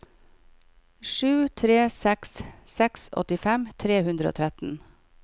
sju tre seks seks åttifem tre hundre og tretten